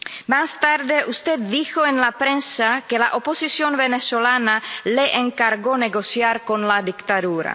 Más tarde, usted dijo en la prensa que la oposición venezolana le encargó negociar con la dictadura.